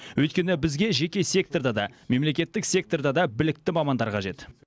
өйткені бізге жеке секторда да мемлекеттік секторда да білікті мамандар қажет